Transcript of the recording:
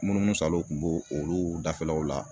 Munumunu salo kun b'o olu dafɛlaw la